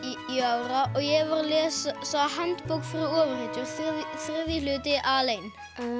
ára og ég var að lesa handbók fyrir ofurhetjur þriðji hluti alein